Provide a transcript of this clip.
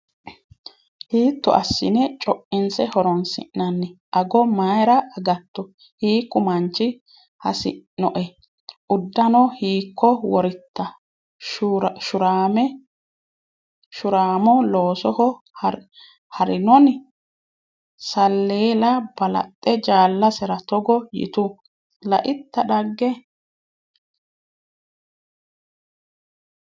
Hiitto assine co’inse horonsi’nanni? Ago mayra agatto? Hiikku manchi hasi’noe? Uddano hiikko woritta? Shuuramo loosoho ha’rinoni? Salleela balaxxe jaalasera togo yitu: “Laitta dhagge?